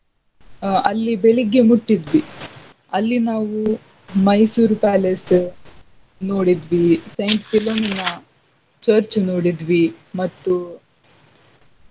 ಆಹ್ ಅಲ್ಲಿ ಬೆಳಿಗ್ಗೆ ಮುಟ್ಟಿದ್ವಿ. ಅಲ್ಲಿ ನಾವು ಮೈಸೂರ್ palace ನೋಡಿದ್ವಿ. St. Philomena church ನೋಡಿದ್ವಿ ಮತ್ತು.